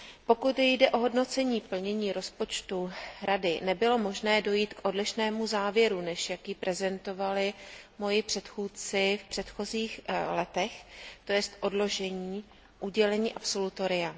Pokud jde o hodnocení plnění rozpočtu Rady, nebylo možné dojít k odlišnému závěru, než jaký prezentovali moji předchůdci v předchozích letech, to jest odložení udělení absolutoria.